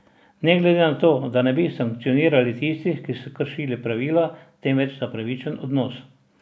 Ne gre za to, da ne bi sankcionirali tistih, ki so kršili pravila, temveč za pravičen odnos.